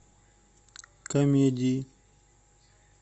комедии